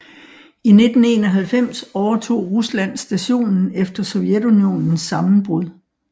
I 1991 overtog Rusland stationen efter Sovjetunionens sammenbrud